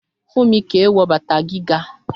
Fúnmi kì í wọ bàtà gíga